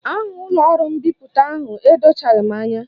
Aha ụlọọrụ mbipụta ahụ edochaghị m anya